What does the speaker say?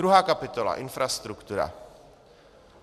Druhá kapitola - infrastruktura.